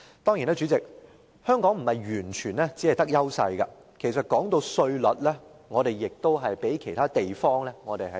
當然，主席，香港並不是完全佔有優勢，就稅率而言，我們稍遜於其他地方。